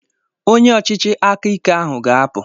Onye ọchịchị aka ike ahụ ga-apụ!